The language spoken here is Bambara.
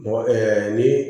Mɔgɔ kɛ ni